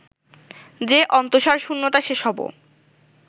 যে অন্তঃসারশূন্যতা সে সবও